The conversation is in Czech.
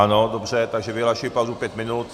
Ano, dobře, takže vyhlašuji pauzu pět minut.